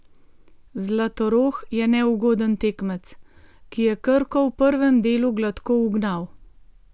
Zlatorog je neugoden tekmec, ki je Krko v prvem delu gladko ugnal.